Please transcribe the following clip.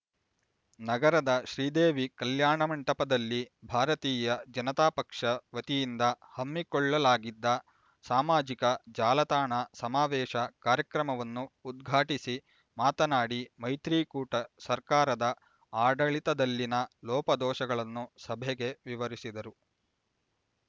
ನಗರದ ಶ್ರೀದೇವಿ ಕಲ್ಯಾಣ ಮಂಟಪದಲ್ಲಿ ಭಾರತೀಯ ಜನತಾಪಕ್ಷ ವತಿಯಿಂದ ಹಮ್ಮಿಕೊಳ್ಳಲಾಗಿದ್ದ ಸಾಮಾಜಿಕ ಜಾಲತಾಣ ಸಮಾವೇಶ ಕಾರ್ಯಕ್ರಮವನ್ನು ಉದ್ಘಾಟಿಸಿ ಮಾತನಾಡಿ ಮೈತ್ರಿಕೂಟ ಸರ್ಕಾರದ ಆಡಳಿತದಲ್ಲಿನ ಲೋಪದೋಷಗಳನ್ನು ಸಭೆಗೆ ವಿವರಿಸಿದರು